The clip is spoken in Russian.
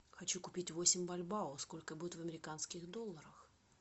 хочу купить восемь бальбао сколько будет в американских долларах